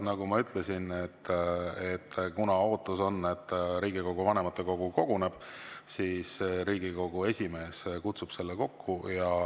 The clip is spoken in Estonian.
Nagu ma ütlesin, kui ootus on, et Riigikogu vanematekogu koguneb, siis Riigikogu esimees kutsub selle kokku.